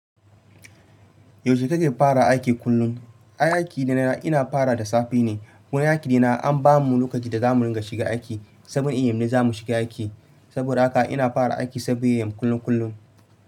Yaushe kake fara aiki kullum? Ai aiki na ina fara da safe ne. Wani aiki dina an bamu lokaci da zamu ringa shiga aiki. 7Am ne zamu shiga aiki. Saboda haka ina fara aiki 7am kullum kullum.